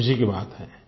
ख़ुशी की बात है